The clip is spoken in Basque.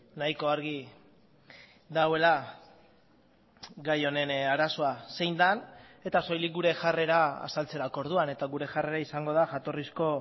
nahiko argi dagoela gai honen arazoa zein den eta soilik gure jarrera azaltzerako orduan eta gure jarrera izango da jatorrizko